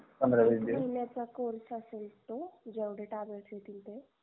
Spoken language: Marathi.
पंधरा वीस दिवश तीन महिन्याचा course असेल तो जेवडे tablet येतील ते